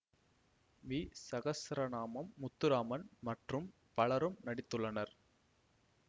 we Sahasranamam Muthuraman மற்றும் பலரும் நடித்துள்ளனர்